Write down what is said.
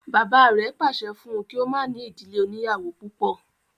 Bàbá rẹ̀ pàṣẹ fún un kí o má ní ìdílé oníyàwó púpọ̀